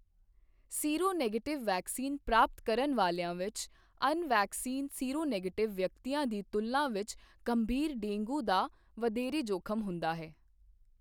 Seronegative vaccine ਪ੍ਰਾਪਤ ਕਰਨ ਵਾਲਿਆਂ ਵਿੱਚ ਅਣ ਵੈਕਸੀਨ ਸੀਰੋਨੈਗੇਟਿਵ ਵਿਅਕਤੀਆਂ ਦੀ ਤੁਲਨਾ ਵਿੱਚ ਗੰਭੀਰ ਡੇਂਗੂ ਦਾ ਵਧੇਰੇ ਜੋਖਮ ਹੁੰਦਾ ਹੈ।